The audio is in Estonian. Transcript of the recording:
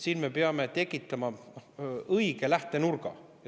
Siin me peame tekitama õige lähtenurga.